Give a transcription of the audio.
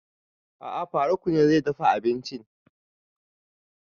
A'a faruk ne zai dafa abinci